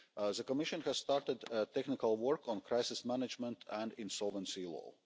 The Commission has started technical work on crisis management and insolvency